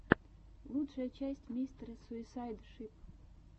лучшая часть мистера суисайд шип